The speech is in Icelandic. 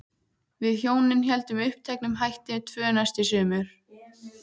Við hjónin héldum uppteknum hætti tvö næstu sumur.